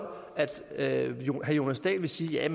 at herre jonas dahl vil sige at